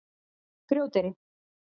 Grjóteyri